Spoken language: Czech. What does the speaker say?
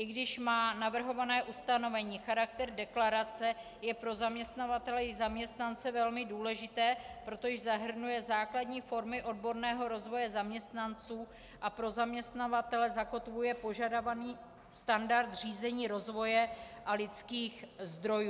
I když má navrhované ustanovení charakter deklarace, je pro zaměstnavatele i zaměstnance velmi důležité, protože zahrnuje základní formy odborného rozvoje zaměstnanců a pro zaměstnavatele zakotvuje požadovaný standard řízení rozvoje a lidských zdrojů.